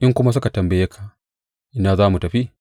In kuma suka tambaye ka, Ina za mu tafi?’